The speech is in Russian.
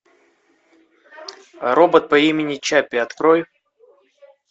робот по имени чаппи открой